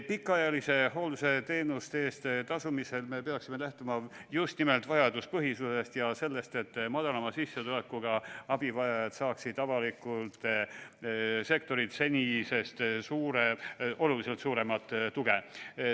Pikaajalise hoolduse teenuste eest tasumisel me peaksime lähtuma just nimelt vajaduspõhisusest ja sellest, et madalama sissetulekuga abivajajad saaksid avalikult sektorilt senisest oluliselt suuremat tuge.